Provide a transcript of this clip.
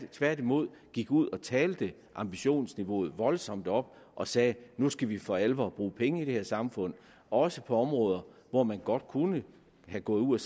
tværtimod gik ud og talte ambitionsniveauet voldsomt op og sagde nu skal vi for alvor bruge penge i det her samfund også på områder hvor man godt kunne være gået ud